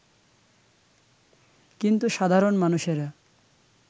কিন্তু সাধারণ মানুষেরা